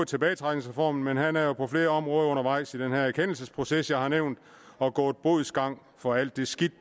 tilbagetrækningsreformen men han er jo på flere områder undervejs i den erkendelsesproces jeg har nævnt og har gået bodsgang for alt det skidt